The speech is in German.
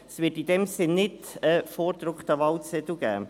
Es wird in dem Sinn keinen vorgedruckten Wahlzettel geben.